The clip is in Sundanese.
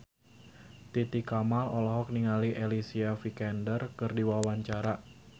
Titi Kamal olohok ningali Alicia Vikander keur diwawancara